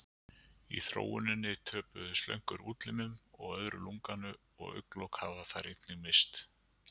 Í þróuninni töpuðu slöngur útlimum og öðru lunganu og augnalok hafa þær einnig misst.